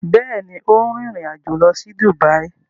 Bẹẹni, o n rin ìrìn-àjò lọ si Dubai